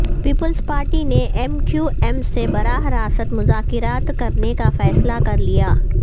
Peoples Party نے M Q M سے براہ راست مذاکرات کرنے کا فیصلہ کر لیا